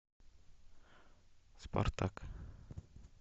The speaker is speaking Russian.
спартак